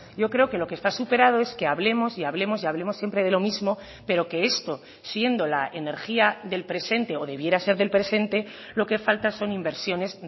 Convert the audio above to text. yo creo que lo que está superado es que hablemos y hablemos y hablemos siempre de lo mismo pero que esto siendo la energía del presente o debiera ser del presente lo que falta son inversiones